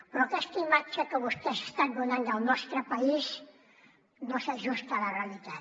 però aquesta imatge que vostès estan donant del nostre país no s’ajusta a la realitat